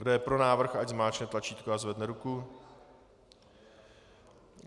Kdo je pro návrh, ať zmáčkne tlačítko a zvedne ruku.